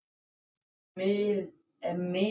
Við fundum hann og við eigum hann þess vegna.